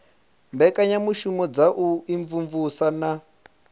mbekanyamushumo dza u imvumvusa na